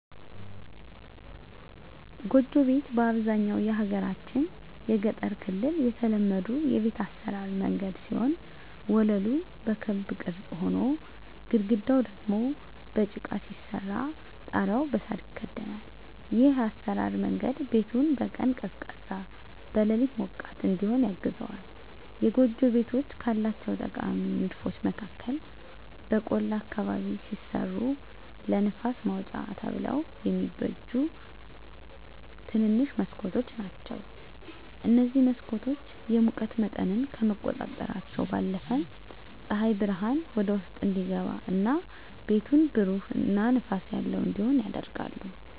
ጎጆ ቤት በአብዛኛው የሀገራችን የገጠር ክፍል የተለመዱ የቤት አሰራር መንገድ ሲሆን ወለሉ በክብ ቅርጽ ሆኖ፣ ግድግዳው ደግሞ በጭቃ ሲሰራ ጣሪያው በሳር ይከደናል። ይህ የአሰራር መንገድ ቤቱን በቀን ቀዝቃዛ፣ በሌሊት ሞቃት እዲሆን ያግዘዋል። የጎጆ ቤቶች ካላቸው ጠቃሚ ንድፎች መካከል በቆላ አካባቢ ሲሰሩ ለንፋስ ማውጫ ተብለው የሚበጁ ትንንሽ መስኮቶች ናቸዉ። እነዚህ መስኮቶች የሙቀት መጠንን ከመቆጣጠራቸው ባለፈም ፀሐይ ብርሃን ወደ ውስጥ እንዲገባ እና ቤቱን ብሩህ እና ንፋስ ያለው እንዲሆን ያደርጋሉ።